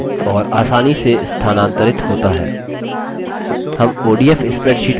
हम odf spreadsheet option पर click करेंगे